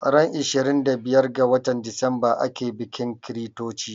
Ran ishirin da biyar ga watan Decemba ake bikin chritochi